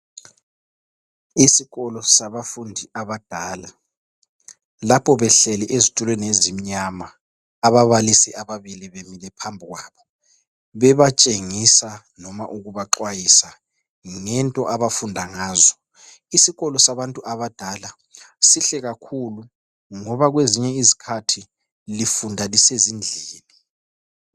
isikolo sabafundi abadala lapho behleli ezitulweni ezimnyama ababalisis ababili bemile baphi kwabo bebatshengisa noma ukubaxwayisa ngento abafunda ngazo isikolo sabantu abadala sihle kakhulu ngoba kwezinye izikhathi lifunda lisezindlini